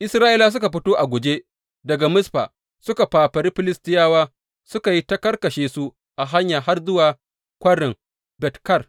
Isra’ilawa suka fito a guje daga Mizfa suka fafari Filistiyawa suka yi ta karkashe su a hanya har kwarin Bet Kar.